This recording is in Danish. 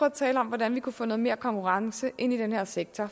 at tale om hvordan vi kunne få noget mere konkurrence ind i den her sektor